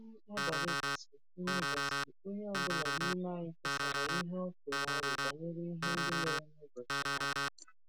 Mgbe nri abalị gasịrị, onye gasịrị, onye ọ bụla n’ime anyị kesara ihe ọ tụrụ aro banyere ihe ndị mere n’ụbọchị ahụ.